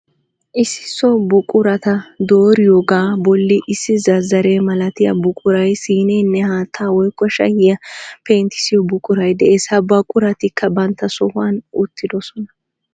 Issi so buqurata dooriyoogaa bolli issi zazzare malatiya buqurayi, siineenne haatta woyikko shayiuya pentyissiyo buquray des. Ha buquratikka bantta sohuwan uttidosona.